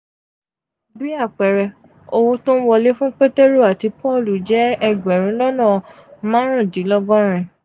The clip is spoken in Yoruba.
bí àpẹẹrẹ owó tó ń wọlé fún pétérù àti pọ́ọ̀lù jẹ́ egberun lona marundinlogorin.